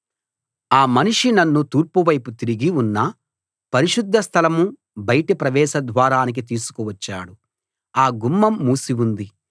ఆ మనిషి నన్ను తూర్పువైపు తిరిగి ఉన్న పరిశుద్ధ స్థలం బయటి ప్రవేశద్వారానికి తీసుకువచ్చాడు ఆ గుమ్మం మూసి ఉంది